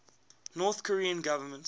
north korean government